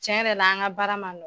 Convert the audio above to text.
Tiɲɛ yɛrɛ la, an ka baara man nɔgɔ.